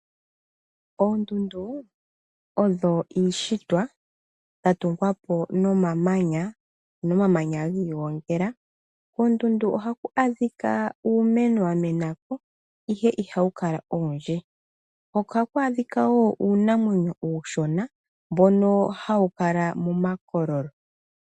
Oondundu odho iishitwa ya tungwa po nomamanya ,ano omamanya gi igongela. Koondundu ohaku adhika uumeno wa mena ko, ihe ihawu kala owundji. Ohaku adhika wo uunamwenyo uushona mbono hawu kala momakololo.